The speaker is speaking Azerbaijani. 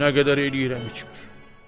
Nə qədər eləyirəm içmir.”